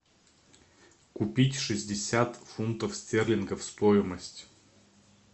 купить шестьдесят фунтов стерлингов стоимость